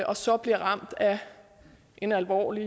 og så bliver ramt af en alvorlig